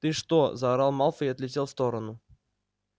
ты что заорал малфой и отлетел в сторону